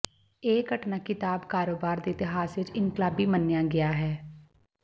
ਇਹ ਘਟਨਾ ਕਿਤਾਬ ਕਾਰੋਬਾਰ ਦੇ ਇਤਿਹਾਸ ਵਿਚ ਇਨਕਲਾਬੀ ਮੰਨਿਆ ਗਿਆ ਹੈ